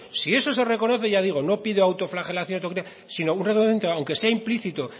si eso se reconoce ya digo no pido autoflagelación autocrítica sino un redundante aunque sea implícito